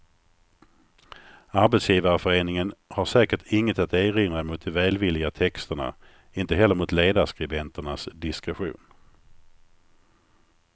Arbetsgivarföreningen har säkert inget att erinra mot de välvilliga texterna, inte heller mot ledarskribenternas diskretion.